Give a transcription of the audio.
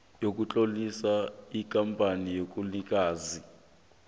sokutlolisa ikampani enobunikazi